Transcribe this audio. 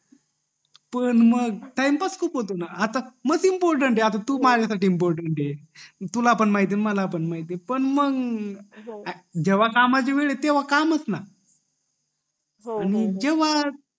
पण मग टाईमपास खूप होतो ग आता मस इम्पॉरटंत आहे आता तू माझ्या साठी इम्पॉरटंत आहे पण मंग जेव्हा कामा ची वेळ ये तेव्हा काम च ना